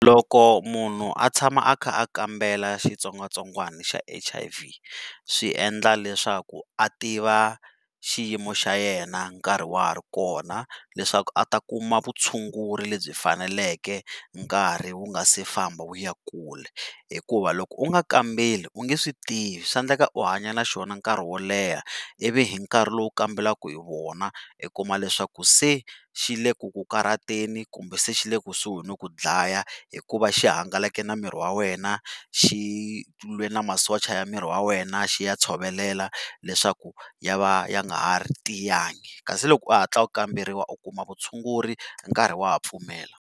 Loko munhu a tshama a kha a kambela xitsongwatsongwana xa H_I_V swi endla leswaku a tiva xiyimo xa yena nkarhi wa ha ri kona leswaku a ta kuma vutshunguri lebyi faneleke nkarhi wu nga si famba wu ya ekule hikuva loko u nga kambeli u nge swi tivi swa endleka u hanya na xona nkarhi wo leha ivi hi nkarhi lowu u kambelaka hi wona i kuma leswaku se xi le ku ku karhateni kumbe se xi le kusuhi no ku dlaya hikuva xi hangalake na miri wa wena xi tlule na masocha ya miri wa wena xi ya tshovelela leswaku ya va ya nga ha ri tiyanga kasi loko u hatla u kamberiwa u kuma vutshunguri nkarhi wa ha pfumela.